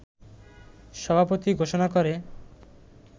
সভাপতি ঘোষণা করে